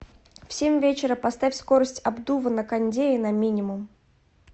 в семь вечера поставь скорость обдува на кондее на минимум